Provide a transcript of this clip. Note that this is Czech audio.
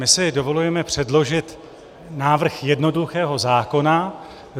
My si dovolujeme předložit návrh jednoduchého zákona.